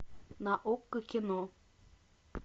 на окко кино